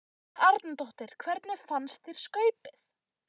Helga Arnardóttir: Hvernig fannst þér skaupið?